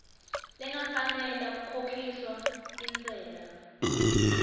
lengafanela kukhokhiswa intsela